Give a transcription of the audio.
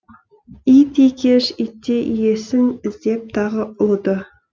ит екеш итте иесін іздеп тағы ұлыды